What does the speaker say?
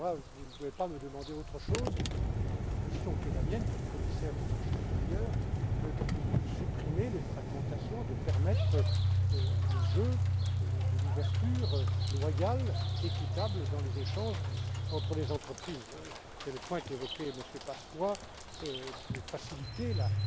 Vous ne pouvez pas me demander autre chose dans la mission qui est la mienne, comme commissaire au marché intérieur, que de supprimer les fragmentations, que de permettre le jeu de l'ouverture loyale et équitable dans les échanges entre les entreprises c'est le point qu'évoquait M. Paška que de faciliter